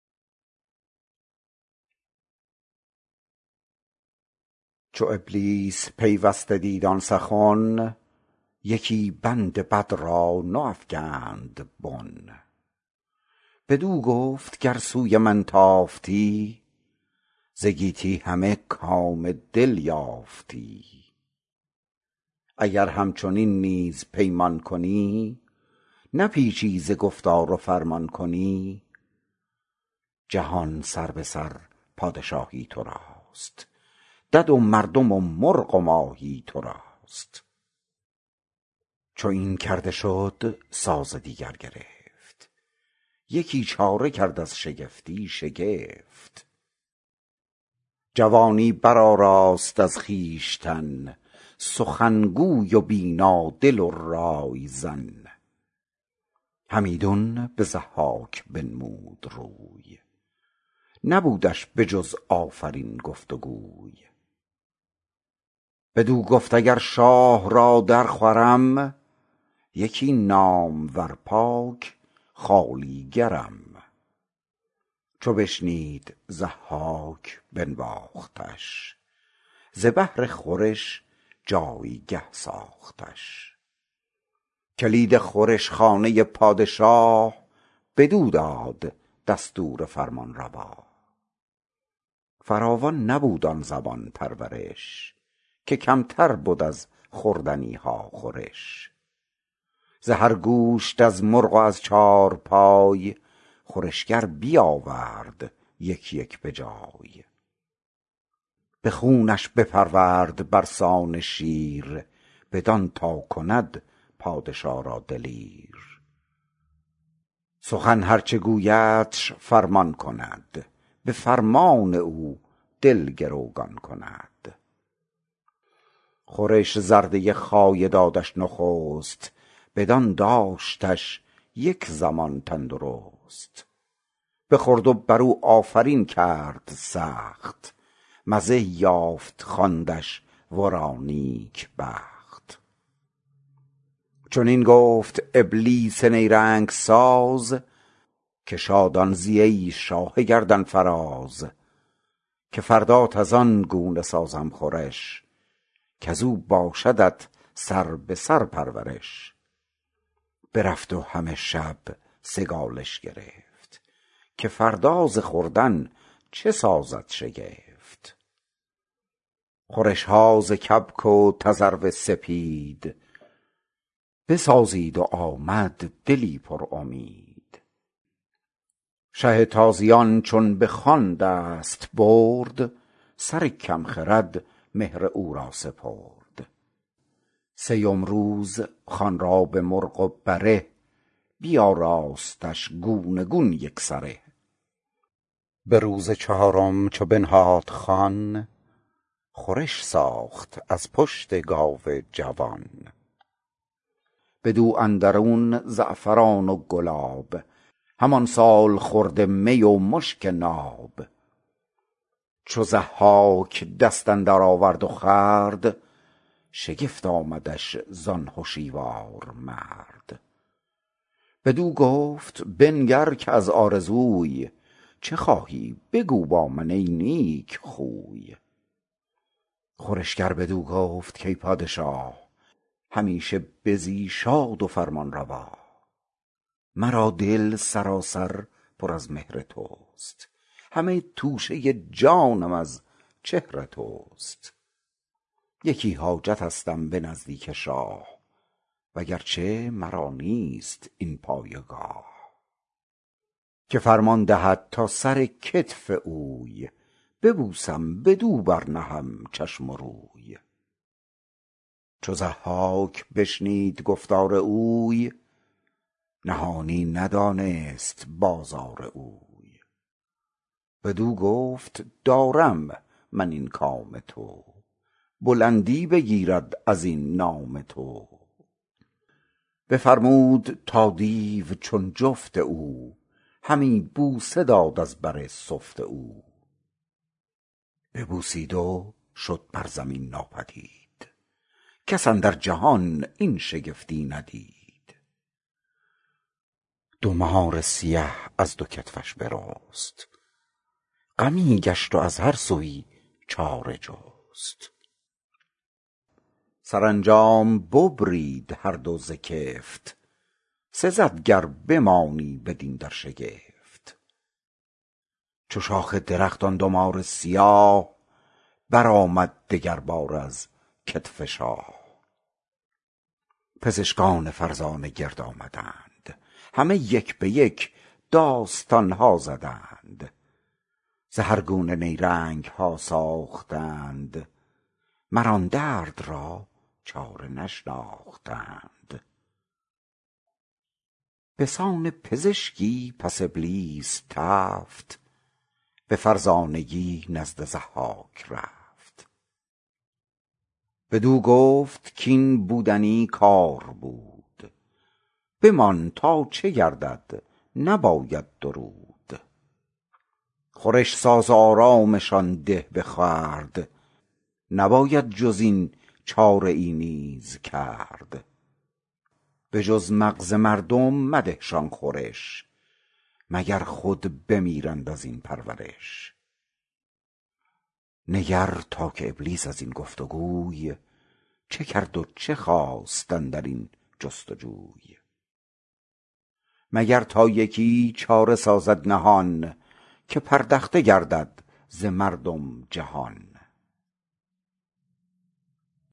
چو ابلیس پیوسته دید آن سخن یکی بند بد را نو افگند بن بدو گفت گر سوی من تافتی ز گیتی همه کام دل یافتی اگر همچنین نیز پیمان کنی نپیچی ز گفتار و فرمان کنی جهان سربه سر پادشاهی تو راست دد و مردم و مرغ و ماهی تو راست چو این کرده شد ساز دیگر گرفت یکی چاره کرد از شگفتی شگفت جوانی برآراست از خویشتن سخنگوی و بینا دل و رایزن همیدون به ضحاک بنهاد روی نبودش به جز آفرین گفت و گوی بدو گفت اگر شاه را در خورم یکی نامور پاک خوالیگرم چو بشنید ضحاک بنواختش ز بهر خورش جایگه ساختش کلید خورش خانه پادشا بدو داد دستور فرمانروا فراوان نبود آن زمان پرورش که کمتر بد از خوردنی ها خورش ز هر گوشت از مرغ و از چارپای خورشگر بیاورد یک یک به جای به خونش بپرورد بر سان شیر بدان تا کند پادشا را دلیر سخن هر چه گویدش فرمان کند به فرمان او دل گروگان کند خورش زرده خایه دادش نخست بدان داشتش یک زمان تندرست بخورد و بر او آفرین کرد سخت مزه یافت خواندش ورا نیک بخت چنین گفت ابلیس نیرنگ ساز که شادان زی ای شاه گردنفراز که فردات از آن گونه سازم خورش کز او باشدت سربه سر پرورش برفت و همه شب سگالش گرفت که فردا ز خوردن چه سازد شگفت خورش ها ز کبک و تذرو سپید بسازید و آمد دلی پر امید شه تازیان چون به نان دست برد سر کم خرد مهر او را سپرد سیم روز خوان را به مرغ و بره بیاراستش گونه گون یک سره به روز چهارم چو بنهاد خوان خورش ساخت از پشت گاو جوان بدو اندرون زعفران و گلاب همان سالخورده می و مشک ناب چو ضحاک دست اندر آورد و خورد شگفت آمدش زان هشیوار مرد بدو گفت بنگر که از آرزوی چه خواهی بگو با من ای نیک خوی خورشگر بدو گفت کای پادشا همیشه بزی شاد و فرمانروا مرا دل سراسر پر از مهر تو است همه توشه جانم از چهر تو است یکی حاجتستم به نزدیک شاه و گرچه مرا نیست این پایگاه که فرمان دهد تا سر کتف اوی ببوسم بدو بر نهم چشم و روی چو ضحاک بشنید گفتار اوی نهانی ندانست بازار اوی بدو گفت دارم من این کام تو بلندی بگیرد از این نام تو بفرمود تا دیو چون جفت او همی بوسه داد از بر سفت او ببوسید و شد بر زمین ناپدید کس اندر جهان این شگفتی ندید دو مار سیه از دو کتفش برست غمی گشت و از هر سویی چاره جست سرانجام ببرید هر دو ز کفت سزد گر بمانی بدین در شگفت چو شاخ درخت آن دو مار سیاه برآمد دگر باره از کتف شاه پزشکان فرزانه گرد آمدند همه یک به یک داستان ها زدند ز هر گونه نیرنگ ها ساختند مر آن درد را چاره نشناختند به سان پزشکی پس ابلیس تفت به فرزانگی نزد ضحاک رفت بدو گفت کاین بودنی کار بود بمان تا چه گردد نباید درود خورش ساز و آرامشان ده به خورد نباید جز این چاره ای نیز کرد به جز مغز مردم مده شان خورش مگر خود بمیرند از این پرورش نگر تا که ابلیس از این گفت وگوی چه کرد و چه خواست اندر این جستجوی مگر تا یکی چاره سازد نهان که پردخته گردد ز مردم جهان